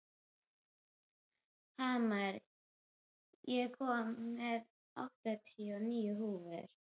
Hamar, ég kom með áttatíu og níu húfur!